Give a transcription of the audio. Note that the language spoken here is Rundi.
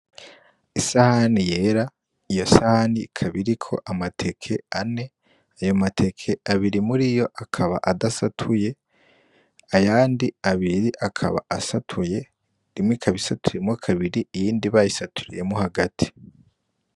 Isahani yera, iyo sahani ikaba iriko amateke ane, ayo mateke abiri muriyo akaba adasatuye, ayandi abiri akaba asatuye, imwe ikaba isatuyemwo kabiri iyindi bayisaturiyemwo hagati.